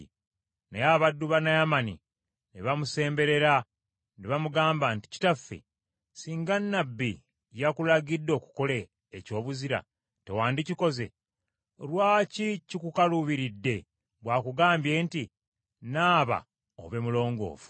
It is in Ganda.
Naye abaddu ba Naamani ne bamusemberera, ne bamugamba nti, “Kitaffe, singa nnabbi yakulagidde okukola ekyobuzira, tewandikikoze? Lwaki kikukaluubiridde bw’akugambye nti, ‘Nnaaba obe mulongoofu?’ ”